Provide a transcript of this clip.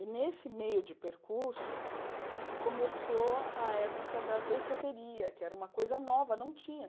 E nesse meio de percurso, começou a época da danceteria, que era uma coisa nova, não tinha.